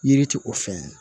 Yiri ti o fɛn ye